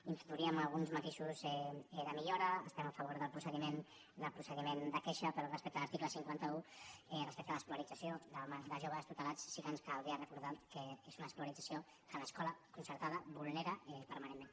hi introduiríem alguns matisos de millora estem a favor del procediment de queixa però respecte a l’article cinquanta un respecte a l’escolarització de joves tutelats sí que ens caldria recordar que és una escolarització que l’escola concertada vulnera permanentment